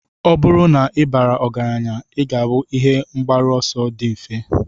Ọ bụrụ na ị bara ọgaranya, ị ga-abụ ihe mgbaru ọsọ dị mfe.